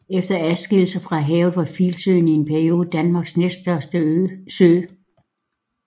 Efter adskillelsen fra havet var Filsøen i en periode Danmarks næststørste sø